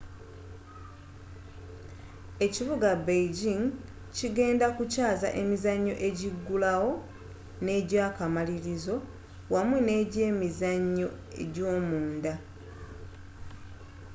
ekibuga beijing kigenda kukyaza emizannyo egigulawo n'egy'akamalirizo awamu n'egy'emizannyo gy'omunda